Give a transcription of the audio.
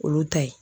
Olu ta ye